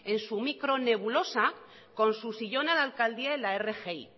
en su micro nebulosa con su sillón a la alcandía en la rgi